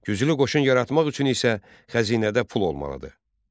Güclü qoşun yaratmaq üçün isə xəzinədə pul olmalı idi.